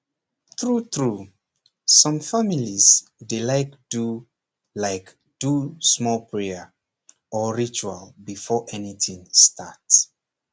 true true some families dey like do like do small prayer or ritual before anything start